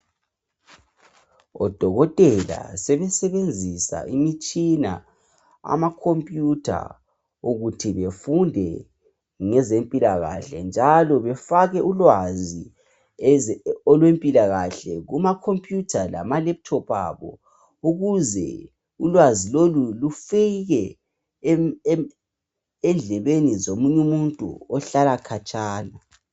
odokotela sebesebenzisa imitshina ama computer ukuthi befunde ngezempilakahle njalo befake ulwazi olwempilakahle kuma computer lama laptop abo ukuze ulwazi lolu lufike endlebeni zomunye umuntu ohlala khatshana